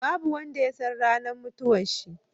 Babu wanda yasan ranar mutuwan shi